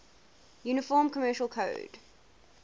uniform commercial code